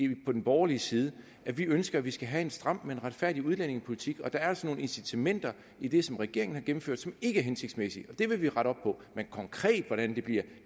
vi på den borgerlige side at vi ønsker at vi skal have en stram men retfærdig udlændingepolitik og der er altså nogle incitamenter i det som regeringen har gennemført som ikke er hensigtsmæssige og det vil vi rette op på men konkret hvordan det bliver